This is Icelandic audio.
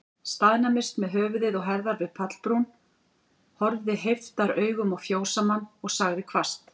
Staðnæmdist með höfuð og herðar við pallbrún, horfði heiftaraugum á fjósamann, og sagði hvasst